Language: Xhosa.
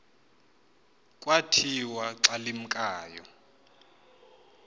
kwathi xa limkayo